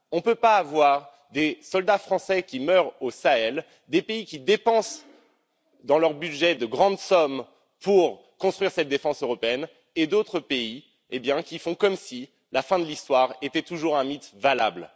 On ne peut pas avoir des soldats français qui meurent au Sahel, des pays qui dépensent dans leur budget de grandes sommes pour construire cette défense européenne et d'autres pays qui font comme si la fin de l'histoire était toujours un mythe valable.